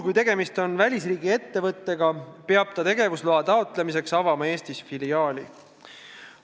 Kui tegemist on välisriigi ettevõttega, peab ta tegevusloa taotlemiseks avama Eestis filiaali.